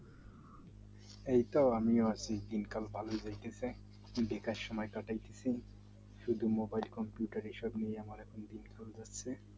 আমিও ভাল আছি দিনকাল ভালোই চলতেছে বেকার সময় শুধু mobile computer এসব নিয়ে আমার এখন দিন কাল যাচ্ছে